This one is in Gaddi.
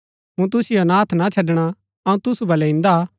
मूँ तुसिओ अनाथ ना छड़णा अऊँ तुसु बलै इन्दा हा